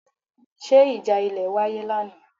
Ṣé ìjà ilẹ̀ wáyé lánàá?